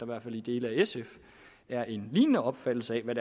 hvert fald i dele af sf er en lignende opfattelse af hvad